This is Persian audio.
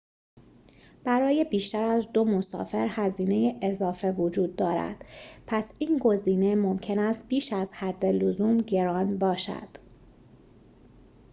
برای بیشتر از ۲ مسافر هزینه اضافه وجود دارد پس این گزینه ممکن است بیش از حد لزوم گران باشد